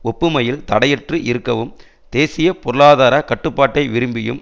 ஒப்புமையில் தடையற்று இருக்கவும் தேசிய பொருளாதார கட்டுப்பாட்டை விரும்பியும்